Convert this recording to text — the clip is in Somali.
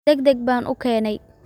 Degdeg baan u keenay.